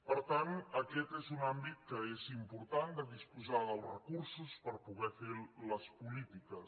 per tant aquest és un àmbit que és important de disposar dels recursos per poder fer les polítiques